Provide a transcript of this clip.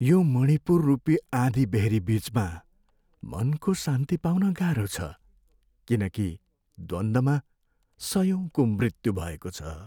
यो मणिपुररूपीआँधीबेहरी बिचमा मनको शान्ति पाउन गाह्रो छ, किनकि द्वन्द्वमा सयौँको मृत्यु हुभएको छ।